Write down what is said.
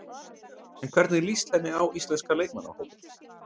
En hvernig líst henni á íslenska leikmannahópinn?